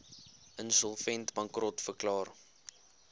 insolvent bankrot verklaar